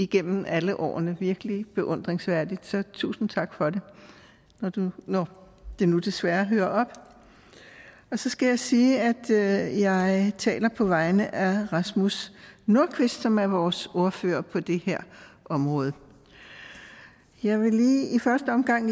gennem alle årene virkelig beundringsværdigt og tusind tak for det når nu det desværre hører op så skal jeg sige at jeg taler på vegne af rasmus nordqvist som er vores ordfører på det her område jeg vil i første omgang